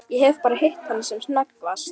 Ég hef bara hitt hana sem snöggvast.